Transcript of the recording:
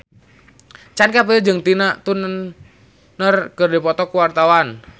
Chand Kelvin jeung Tina Turner keur dipoto ku wartawan